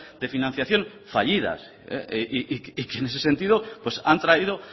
de financiación fallidas y que en ese sentido pues han traído